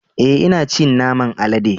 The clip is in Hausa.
E,ina cin naman alade.